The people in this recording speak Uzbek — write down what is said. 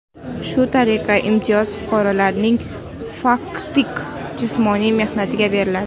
Shu tariqa, imtiyoz fuqarolarning faktik jismoniy mehnatiga beriladi.